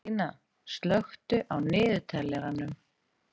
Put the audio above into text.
Ólína, slökktu á niðurteljaranum.